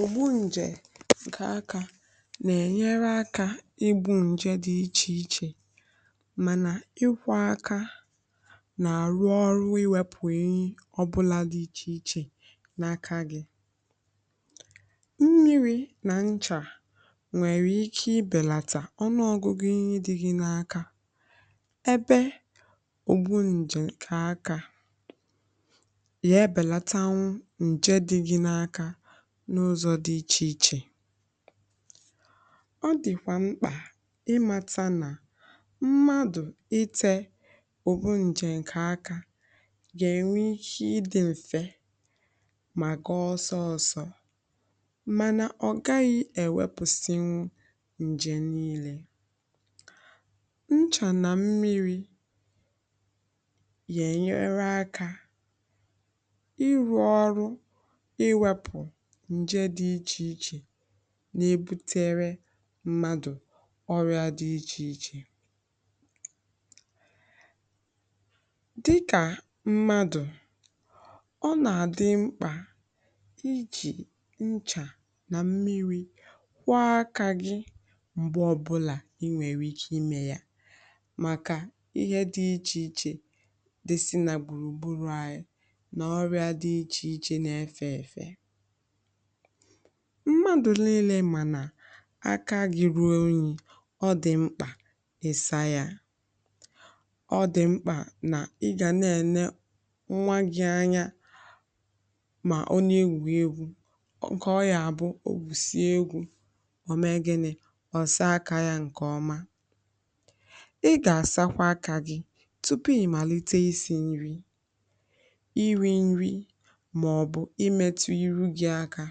Ọgwụ nje ka aka na-enye aka igbu nje dị iche iche, mana ikwu na aka na-arụ ọrụ iwepụ ehi ọbụla dị iche iche n’aka gị abụghị ezie. Mmiri na nchà nwere ike ibelata ọnụ ọgụgụ nje dị gị n’aka, ebe ọ bụ na ọrịa nje ka aka nje dị gị n’aka n’ụzọ dị iche iche. Ọ dịkwa mkpa ịmata na mmadụ ite ọrịa nje n’aka ga-enwe ihe dị mfe maka ọsọ ọsọ, mana ọ gaghị ewepụsi nje niile. Nchà na mmiri ga-enyere aka iwepụ nje dị iche iche na-ebute ọrịa ọtụtụ ọrụ dị iche iche dịka ọrụ mmadụ, ọ na-adị mkpa iji nchà na mmiri kwọọ aka gị mgbe ọbụla i nwere ike ime ya. Maka ihe dị iche iche dị si n’agbụrụ anyị mmadụ nile, mana aka gị ruo onyinyo, ọ dị mkpa ịsa ya. Ọ dịkwa mkpa na ị ga na-enye nwa gị anya, ma onye ewụghị egwu nke ọnya abụghị o wusiri egwu ọ naghị asaa aka ya nkeọma:Ị ga-asakwa aka gị tupu ị malite isi nri, maọbụ imetụ ihu gị aka.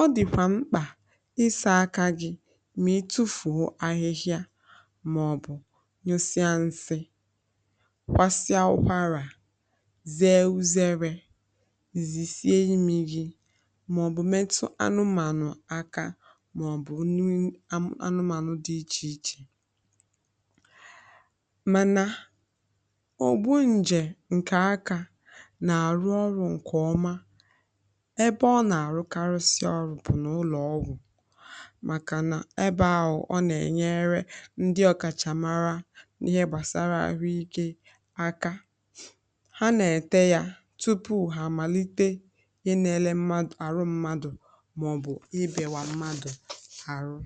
Ọ dịkwa mkpa iso aka gị ma tufuo ahịhịa, maọbụ yosi nsị, kwasịa ụkwara, zee uzere, zisi emi gị, maọbụ metụ anụmanụ aka, maọbụ nụ anụmanụ dị iche iche. Mana ọgwụ nje nke aka, ebe ọ na-arụkarị ọrụ, bụ n'ụlọọgwụ maka na ebe ahụ ọ na-enyere ndị ọkachamara n’ihe gbasara ahụike aka. Ha na-ete ya tupu ha amalite inele ahụ, maọbụ ibekwa mmadụ ahụ.